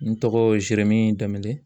N tɔgɔ zeremi danbele